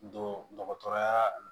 Don dɔgɔtɔrɔyaa